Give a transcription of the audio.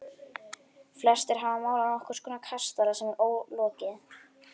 Flestir hafa málað nokkurs konar kastala sem er ólokið.